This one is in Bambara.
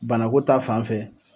Banako ta fan fɛ